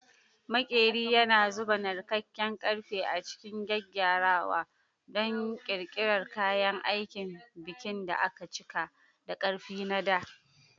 Maƙeri yana zuba narkakkar ƙarfe a cikin gyaggyarawa don ƙirƙirar kayan aikin bikin da aka cika da ƙarfi na dā.